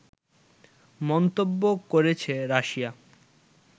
মন্তব্য করেছে রাশিয়া